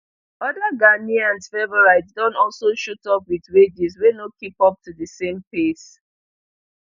oda ghanaian favourites don also shoot up wit wages wey no keep up to di same pace